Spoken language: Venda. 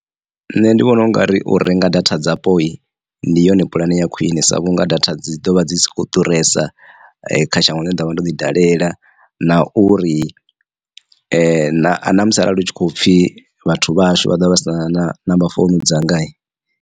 Nṋe ndi vhona ungari u renga data dzapo ndi yone puḽane ya khwine sa vhunga data dzi ḓovha dzi si kho ḓuresa kha shango ḽine nda ḓovha ndo ḓi dalela na uri na a namusi arali hu tshi kho pfhi vhathu vhahashu vha ḓovha vha sina number founu dzanga.